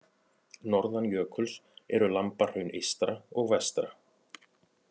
Norðan jökuls eru Lambahraun eystra og vestra.